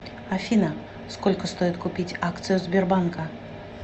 афина сколько стоит купить акцию сбербанка